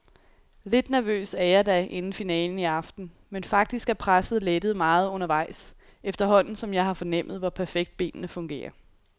Lidt nervøs er jeg da inden finalen i aften, men faktisk er presset lettet meget undervejs, efterhånden som jeg har fornemmet, hvor perfekt benene fungerer.